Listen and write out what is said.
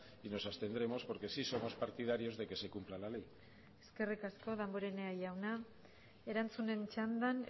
y nos abstendremos porque si somos partidarios de que se cumpla la ley eskerrik asko damborenea jauna erantzunen txandan